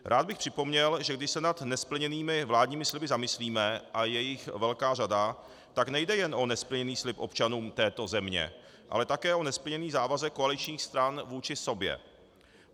Rád bych připomněl, že když se nad nesplněnými vládními sliby zamyslíme, a je jich velká řada, tak nejde jen o nesplněný slib občanům této země, ale také o nesplněný závazek koaličních stran vůči sobě.